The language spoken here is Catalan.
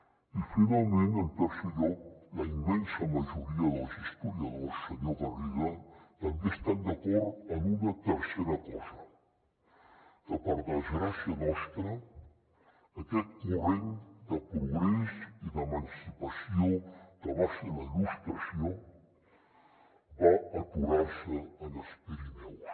i finalment en tercer lloc la immensa majoria dels historiadors senyor garriga també estan d’acord en una tercera cosa que per desgràcia nostra aquest corrent de progrés i d’emancipació que va ser la il·lustració va aturar se en els pirineus